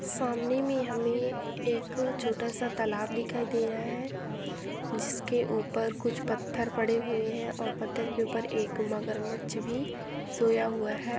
सामने में हमे एक छोटा सा तालाब दिखाई दे रहा है जिसके ऊपर कुछ पत्थर पड़े हुए है और पत्थर के ऊपर एक मगरमच्छ भी सोया हुआ है।